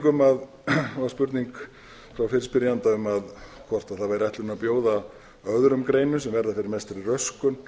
um síðan var spurning frá fyrirspyrjanda hvort það væri ætlunin að bjóða öðrum greinum sem verða fyrir mestri röskun